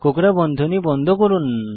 কোকড়া বন্ধনী বন্ধ করুন